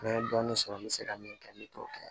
N ye dɔɔnin sɔrɔ n bɛ se ka min kɛ n bɛ t'o kɛ